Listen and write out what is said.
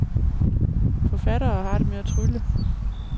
Forfatteren har det med at trylle.